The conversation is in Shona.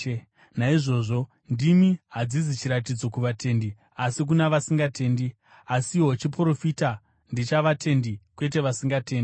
Naizvozvo, ndimi hadzizi chiratidzo kuvatendi asi kuna vasingatendi; asiwo chiprofita ndechavatendi, kwete vasingatendi.